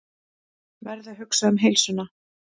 Verð að hugsa um heilsuna.